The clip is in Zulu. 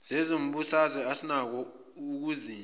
sezombusazwe asinakho ukuzinza